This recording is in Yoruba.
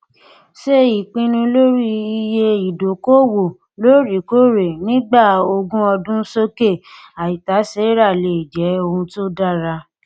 ṣe ìpinnu lórí iye ìdókòòwò lóòrèkóòrè nígbà ogún ọdún sókè àìtàséra lè jẹ ohun tó dára